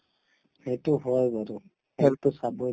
সেইটো হয় বাৰু health তো চাবৈ